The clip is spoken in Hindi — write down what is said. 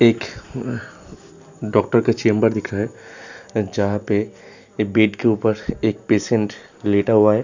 एक डॉक्टर का चैम्बर दिख रहा है। जहां पे बेड के ऊपर एक पेशंट लेटा हुआ है।